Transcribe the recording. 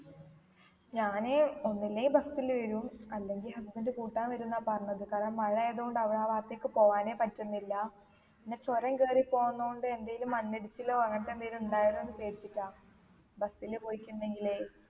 ഞാൻ ഒന്നില്ലേൽ bus ല് വരും അല്ലെങ്കി husband കൂട്ടാൻ വരും ന്നാ പറഞ്ഞത് കാരണം മഴ ആയത് കൊണ്ട് അവി ആ ഭാഗത്തേക്ക് പോവാനേ പറ്റുന്നില്ല പിന്നെ ചൊരം കറി പോന്നോണ്ട് എന്തേലും മണ്ണിടിച്ചിലോ അങ്ങനത്തെ എന്തേലും ഇണ്ടായാലോന്ന് പേടിച്ചിട്ടാ bus ല് പോയിട്ടിണ്ടെങ്കിലേ